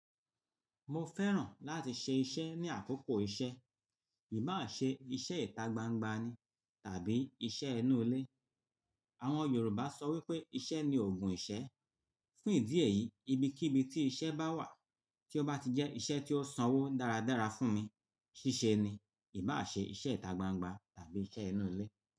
Mo fẹ́ràn láti ṣe iṣẹ́ ní àkókò iṣẹ́, ìbá ṣe iṣẹ́ ìta gbangba ni tàbí iṣẹ́ inú ilé. Àwọn Yorùbá sọ wípé iṣẹ́ ni ògùn ìṣẹ́. Fún ìdí èyí, ibi kí ibi tí iṣẹ́ bá wà tí ó bá ti jẹ́ iṣẹ́ tí ó sanwó dáradára fún mi, ṣíṣe ni, ìbá ṣe iṣẹ́ ìta gbangba tàbí iṣẹ́ inú ilé.